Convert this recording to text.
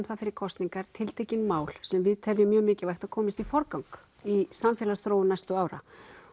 það fyrir kosningar tiltekin mál sem við teljum mjög mikilvægt að komist í forgang í samfélagsþróun næstu ára